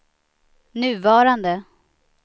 nuvarande